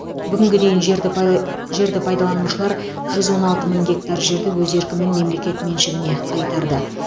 бүгінге дейін жерді пайды жерді пайдаланушылар жүз он алты мың гектар жерді өз еркімен мемлекет меншігіне қайтарды